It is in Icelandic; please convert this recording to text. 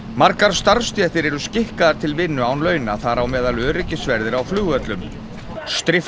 margar starfsstéttir eru skikkaðar til vinnu án launa þar á meðal öryggisverðir á flugvöllum